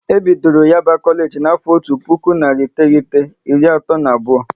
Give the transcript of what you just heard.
E bidoro Yaba Kolage na afo otu puku narị iteghete, iri atọ na abụọ